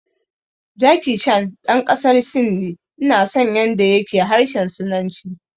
Jackie Chan ɗan ƙasar Sin ne, ina son yanda ya ke harshen sinanci